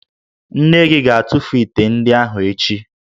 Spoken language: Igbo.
Nne gị ga-atụfu ite ndị ahụ echi